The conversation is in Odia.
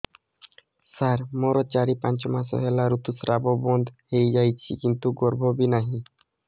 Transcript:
ସାର ମୋର ଚାରି ପାଞ୍ଚ ମାସ ହେଲା ଋତୁସ୍ରାବ ବନ୍ଦ ହେଇଯାଇଛି କିନ୍ତୁ ଗର୍ଭ ବି ନାହିଁ